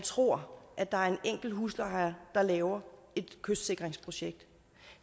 tror at der er en enkelt husejer der laver et kystsikringsprojekt